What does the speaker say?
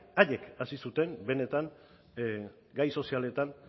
haiek hasi zuten benetan gai sozialetan